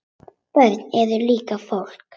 Börn eru líka fólk.